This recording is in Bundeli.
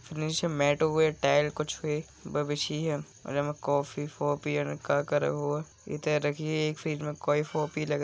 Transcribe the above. निचे बा बिछी है और कॉफ़ी ओफ्फी आने का करे होए एक कई कॉफ़ी लग रही है|